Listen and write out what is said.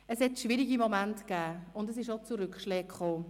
Es gab schwierige Momente, und es kam auch zu Rückschlägen.